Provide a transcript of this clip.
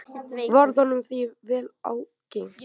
Varð honum því vel ágengt.